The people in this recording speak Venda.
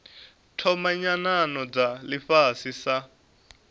thoma nyanano dza ifhasi sa